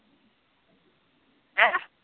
ਹੈ